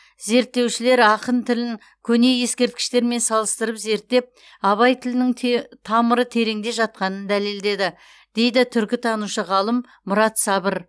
зерттеушілер ақын тілін көне ескерткіштермен салыстырып зерттеп абай тілінің те тамыры тереңде жатқанын дәлелдеді дейді түркітанушы ғалым мұрат сабыр